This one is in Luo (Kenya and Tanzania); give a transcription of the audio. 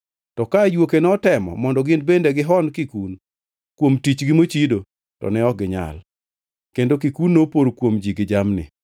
To ka ajuoke notemo mondo gin bende gihon kikun kuom tichgi mochido, to ne ok ginyal, kendo kikun nopor kuom ji gi jamni.